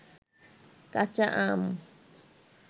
কাচা আম